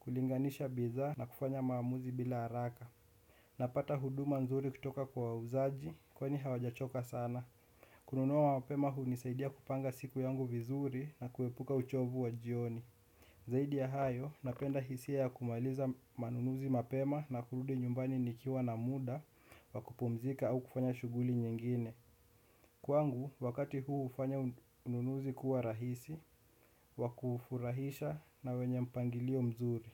kulinganisha bidhaa na kufanya maamuzi bila haraka. Napata huduma nzuri kutoka kwa wauzaji kwani hawajachoka sana. Kununua mapema hunisaidia kupanga siku yangu vizuri na kuepuka uchovu wa jioni. Zaidi ya hayo, napenda hisia ya kumaliza manunuzi mapema na kurudi nyumbani nikiwa na muda, wa kupumzika au kufanya shughuli nyingine. Kwangu, wakati huu hufanya ununuzi kuwa rahisi, wa kufurahisha na wenye mpangilio mzuri.